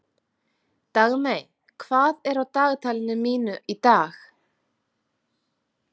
Dagmey, hvað er á dagatalinu mínu í dag?